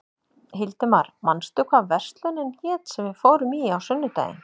Hildimar, manstu hvað verslunin hét sem við fórum í á sunnudaginn?